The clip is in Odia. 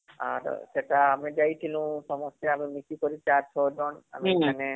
ଆର ସେଟା ଆମେ ଯାଇଥିନୁ ସମସ୍ତେ ମିଶିକରି ୪ ୬ ଜଣ ଆମେ ମାନେ ହଁ